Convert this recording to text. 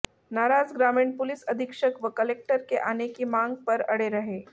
नाराज ग्रामीण पुलिस अधीक्षक व कलेक्टर के आने की मांग पर अड़े रहे